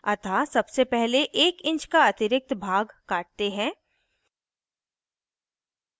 अतः सबसे पहले 1 इंच का अतिरिक्त भाग काटते हैं